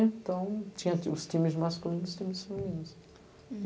Então, tinha os times masculinos e os times femininos. Hm